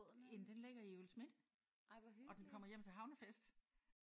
Jamen den ligger i Juelsminde og den kommer hjem til havnefest